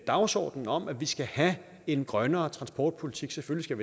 dagsordenen om at vi skal have en grønnere transportpolitik selvfølgelig